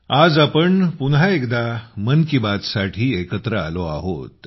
आज आपण पुन्हा एकदा मन की बात साठी एकमेकांसमोर आलो आहोत